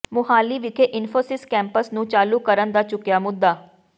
ਮੁਹਾਲੀ ਵਿਖੇ ਇਨਫ਼ੋਸਿਸ ਕੈਂਪਸ ਨੂੰ ਚਾਲੂ ਕਰਨ ਦਾ ਚੁੱਕਿਆ ਮੁੱਦਾ